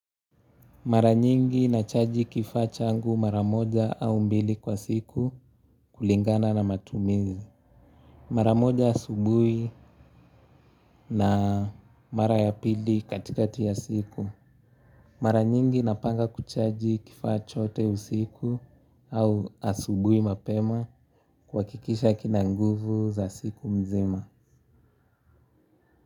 Mara nyingi nachaji kifaa changu mara moja au mbili kwa siku kulingana na matumizi. Mara moja asubuhi na mara ya pili katikati ya siku. Mara nyingi napanga kuchaji kifaa chote usiku au asubuhi mapema kuhakikisha kina nguvu za siku mzima.